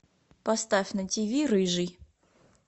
поставь на тиви рыжий